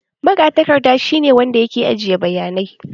Magatakarda shi ne wanda yake ajiye bayanai